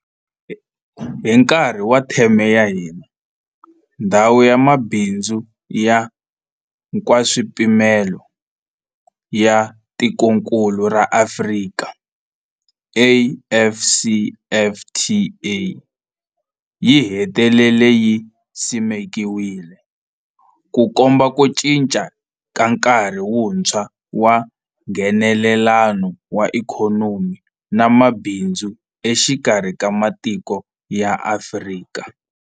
Hi nkarhi wa theme ya hina, Ndhawu ya Mabindzu ya Nkaswipimelo ya Tikokulu ra Afrika, AfCFTA, yi hetelele yi simekiwile, Ku komba ku cinca ka nkarhi wuntshwa wa Nghenelelano wa ikhonomi na mabindzu exikarhi ka matiko ya Afrika.